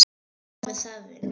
Og hvað með það, vinur?